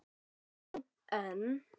Já, en